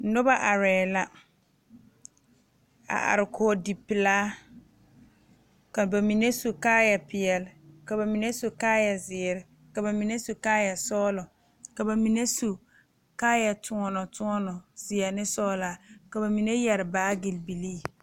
Noba arɛɛ la a are kɔge dipelaa ka ba mine su kaayapeɛlle ka ba mine su kaayazeere ka ba mine su kaayasɔglɔ ka ba mine su kaayakyoɔnɔkyoɔnɔ zeɛ ne sɔglaa ka ba mine yɛre baage bilii.